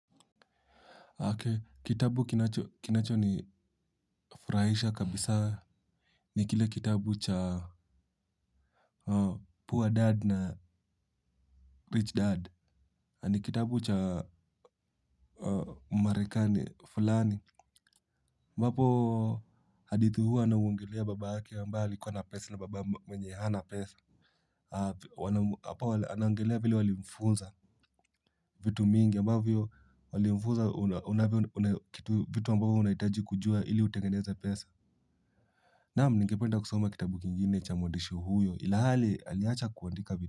Ake, kitabu kinacho ni furahisha kabisa, ni kile kitabu cha Poor Dad na Rich Dad, ni kitabu cha marekani, fulani. Ambapo hadithu huu anaongelea baba yake ambaye alikuwa na pesa na baba mwenye hana pesa. Hapa anaongelea vile walimfunza vitu mingi ambavyo, walimfunza vitu ambavyo unahitaji kujua ili utengeneze pesa. Naam ningependa kusoma kitabu kingine cha mwandishi huyo ilhali aliwacha kuandika vit.